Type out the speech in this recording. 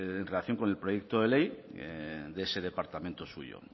en relación con el proyecto de ley de ese departamento suyo